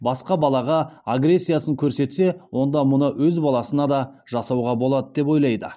басқа балаға агрессиясын көрсетсе онда мұны өз баласына да жасауға болады деп ойлайды